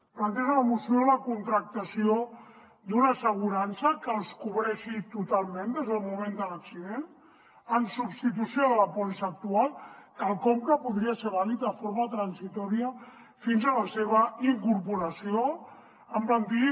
planteja la moció la contractació d’una assegurança que els cobreixi totalment des del moment de l’accident en substitució de la pòlissa actual quelcom que podria ser vàlid de forma transitòria fins a la seva incorporació en plantilla